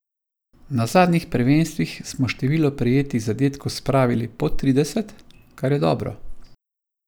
Na zadnjih prvenstvih smo število prejetih zadetkov spravili pod trideset, kar je dobro.